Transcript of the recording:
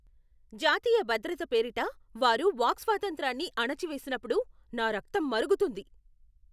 జాతీయ భద్రత పేరిట వారు వాక్స్వాతంత్రాన్ని అణచివేసినప్పుడు నా రక్తం మరుగుతుంది.